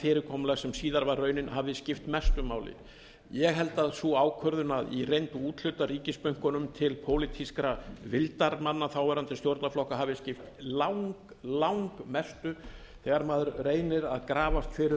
fyrirkomulag sem síðar var raunin og hafði skipt mestu máli ég held að sú ákvörðun að í reynd úthluta ríkisbönkunum til pólitískra vildarmanna þáverandi stjórnarflokka hafi skipt langmestu þegar maður reynir að grafast fyrir